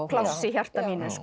pláss í hjarta mínu